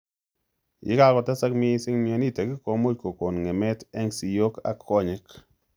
Yekakotesak mising mionitok komuch kokon ng'emet eng' siiyok ak konyek